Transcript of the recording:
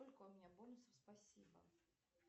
сколько у меня бонусов спасибо